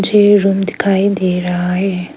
पीछे रूम दिखाई दे रहा है।